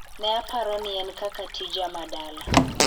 "Ne apaoro ni en kaka, tija ma dala.